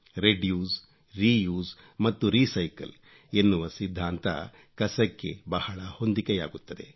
reduce reuse ಮತ್ತು recycle ಎನ್ನುವ ಸಿದ್ಧಾಂತ ಕಸಕ್ಕೆ ಬಹಳ ಹೊಂದಿಕೆಯಾಗುತ್ತದೆ